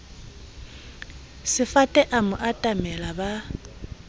sefate a mo atamela ba